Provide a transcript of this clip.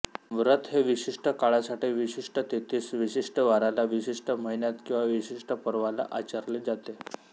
व्रत हे विशिष्ट काळासाठी विशिष्ट तिथीस विशिष्ट वाराला विशिष्ट महिन्यात किंवा विशिष्ट पर्वाला आचरले जाते